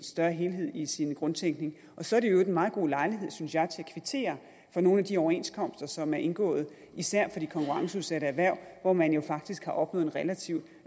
større helhed i sin grundtænkning så er det i øvrigt en meget god lejlighed synes jeg til at kvittere for nogle af de overenskomster som er indgået især for de konkurrenceudsatte erhverv hvor man jo faktisk har opnået en relativ